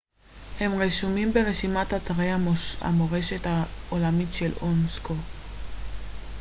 הם רשומים ברשימת אתרי המורשת העולמית של אונסק ו